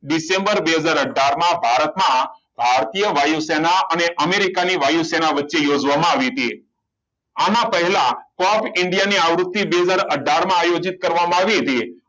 December બે હજાર અથાર માં ભારતમાં ભારતીય વાયુસેના અને અમેરિકાની વચ્ચે જોવામાં આવી હતી આના પહેલા cup india ની આવૃત્તિ બે હજાર અથાર માં આયોજિત કરવામાં આવી હતી